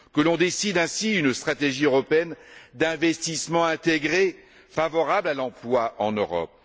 que l'on décide ainsi d'une stratégie européenne d'investissement intégré favorable à l'emploi en Europe.